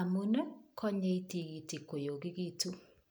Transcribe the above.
amun, konyei tigitik koyogegitun.